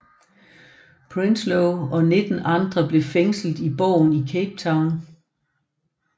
Prinsloo og nitten andre blev fængslet i borgen i Cape Town